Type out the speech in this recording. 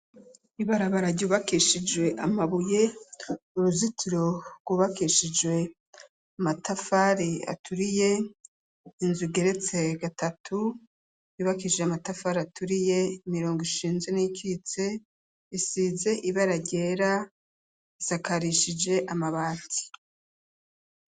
Ibarabara ryubakishijwe amabuye uruzitiro gwubakishijwe amatafari aturiye inzu igeretse gatatu yubakishije amatafari aturiye imirongo ishinze n'iyikitse isize ibara ryera isakarishije amabati.